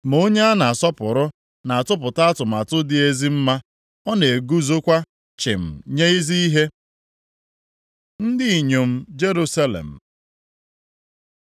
Ma onye a na-asọpụrụ na-atụpụta atụmatụ dị ezi mma, ọ na-eguzokwa chịm nye ezi ihe. Ndị inyom Jerusalem